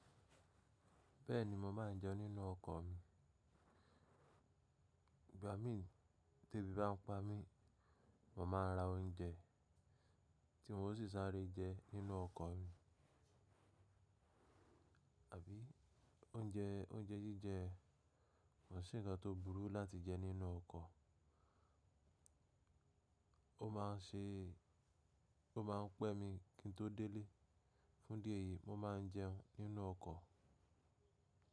Bẹ́ẹ̀ni mo má a ń jẹun nínú ọkọ̀ mi. Ìgbà mí tí ebi bá ń pa mí, mo máa ra oúnjẹ tí mo sì sáré jẹ nínú ọkọ̀ mi, àbí oúnjẹ, oúnjẹ jíjẹ kò sì ń kan tó burú láti jẹ nínú ọkọ̀. Ó má a ń ṣe, ó má a ń pẹ́ mi kí n tó délé. Fún idí eyìí mo má a ń jẹun nínú ọkọ̀.